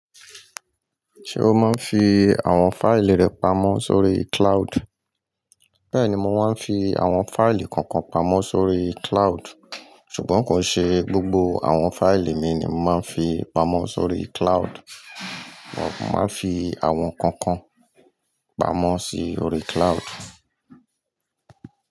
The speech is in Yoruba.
Ṣé o máa ń fi àwọn fáìlì rẹ pamọ́ sórí cloud? Bẹ́ẹ̀ ni mo máa ń fi àwọn fáìlì kọ̀ọ̀kan pamọ́ sórí cloud. Ṣùgbọ́n kò ṣe gbogbo àwọn fáìlì mi ni mo máa ń fi pamọ́ sórí cloud. Mo máa ń fi àwọn kọ̀ọ̀kan pamọ́ sórí cloud.